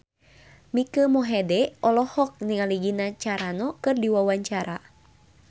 Mike Mohede olohok ningali Gina Carano keur diwawancara